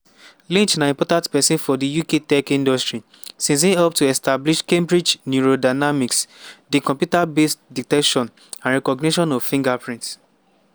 lynch na important pesin for di uk tech industry since e help to establish cambridge neurodynamics di computer-based detection and recognition of fingerprints.